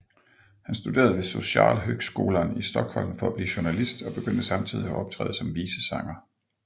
Han studerede ved Socialhögskolan i Stockholm for at blive journalist og begyndte samtidigt at optræde som visesanger